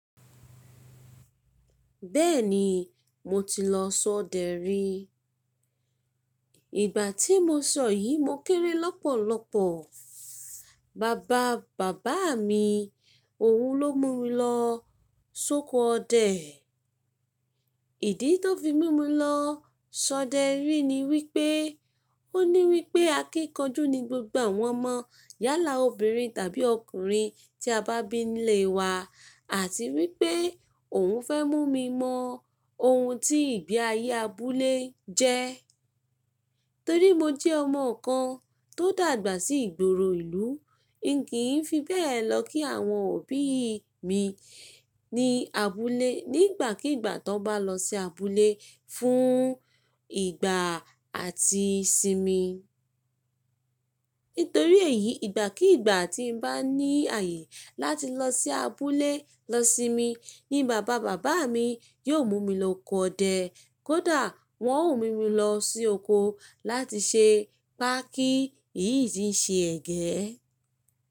Bẹ́ẹ̀ni, mo ti lọ sọdẹ̀ rí. Ìgbà tí mo sọ yìí, mo kéré lọ́pọ̀lọ́pọ̀. Bàbá bàbá mi, òun ló mú mi lọ sóko ọdẹ̀. Ìdí tó fi mú mi lọ sọdẹ̀ rí ni wípé, ó ní wípé akíkanjú ni gbogbo àwọn ọmọ yálà obìnrin tàbí ọkùnrin tí a bá bí nílé wa àti wípé òun fẹ́ mú mi mọ ohun tí ìgbé ayé abúlé jẹ́. Torí mo jẹ́ ọmọ kan tó dàgbà sí ìgboro ìlú, n kì í fi bẹ́ẹ̀ lọ kí àwọn òbí mi ní abúlé nígbàkígbà tó bá lọ sí abúlé fún ìgbà àti sinmi. Nítorí èyí, ìgbàkígbà tí n bá ní ààyè láti lọ sí abúlé lọ sinmi ni bàbá bàbá mi yóò mú mi lọ ọ̀kọ́ odẹ̀, kódà wọn ó mú mi lọ sí ọ̀kọ́ láti ṣe pákí iyí tí ń ṣe ẹ̀gẹ́.